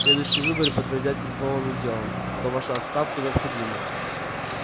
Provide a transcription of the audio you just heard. следующие выборы подтвердят и словом и делом что ваша отставка необходима